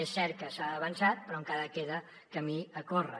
és cert que s’ha avançat però encara queda camí a córrer